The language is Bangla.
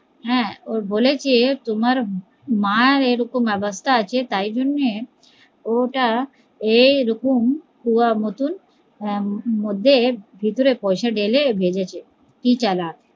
হ্যা ও বলছে তোমার মার এরকম অবস্থা আছে তাই জন্যে ও ওটা এই এরকম পুয়া মতন ভেতরে পয়সা ঢেলে ভেজেছে